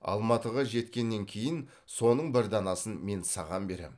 алматыға жеткеннен кейін соның бір данасын мен саған берем